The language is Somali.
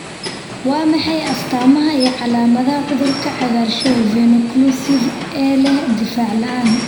Waa maxay astaamaha iyo calaamadaha cudurka cagaarshow venoocclusive ee leh difaac la'aan?